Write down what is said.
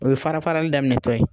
O ye farafarali daminɛtɔ ye